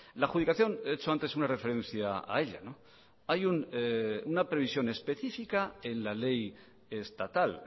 la adjudicación he hecho antes una referencia a ella hay una previsión específica en la ley estatal